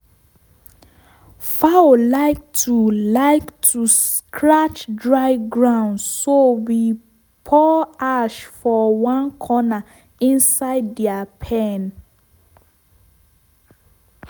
fowl like to like to scratch dry ground so we pour ash for one corner inside their pen.